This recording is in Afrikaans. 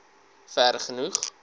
vergenoeg